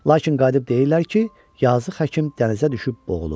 Lakin qayıdıb deyirlər ki, yazıq həkim dənizə düşüb boğulub.